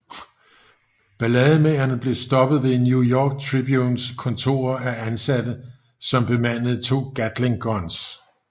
Ballademagerne blev stoppet ved New York Tribunes kontorer af ansatte som bemandede to Gatling guns